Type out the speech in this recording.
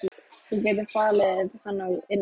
Þú getur falið hann inni á.